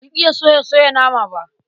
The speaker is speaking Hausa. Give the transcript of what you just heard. Ban iya soya soya nama ba.